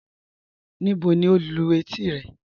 Níbò ni o lú ètí rẹ?